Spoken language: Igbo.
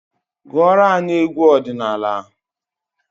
Gụọra anyị egwu ọdịnala!